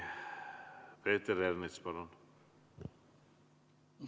Peeter Ernits, palun!